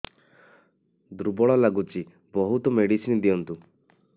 ଦୁର୍ବଳ ଲାଗୁଚି ବହୁତ ମେଡିସିନ ଦିଅନ୍ତୁ